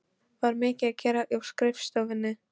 Var mikið að gera á skrifstofunni?